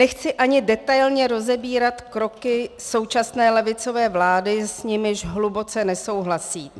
Nechci ani detailně rozebírat kroky současné levicové vlády, s nimiž hluboce nesouhlasím.